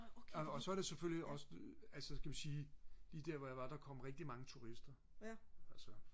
og så er det selvfølgelig også altså kan vi sige lige der hvor jeg var der kom rigtig mange turister altså